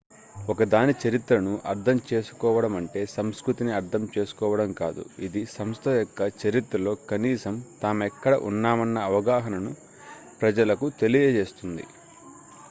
ఒక దాని చరిత్రను అర్థం చేసుకోవడమంటే సంస్కృతిని అర్థం చేసుకోవడం కాదు ఇది సంస్థ యొక్క చరిత్రలో కనీసం తామెక్కడ ఉన్నామన్న అవగాహనను ప్రజలకు తెలియజేస్తుంది